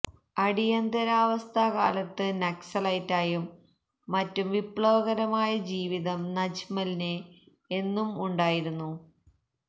അടിയന്തരാവസ്ഥ കാലത്ത് നക്സലൈറ്റായും മറ്റും വിപ്ലവകരമായ ജീവിതം നജ്മലിന് എന്നും ഉണ്ടായിരുന്നു